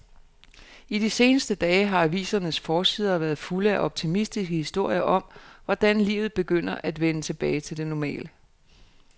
I de seneste dage har avisernes forsider været fulde af optimistiske historier om, hvordan livet begynder at vende tilbage til det normale.